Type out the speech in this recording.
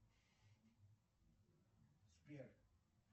сбер